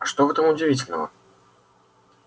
а что в этом удивительного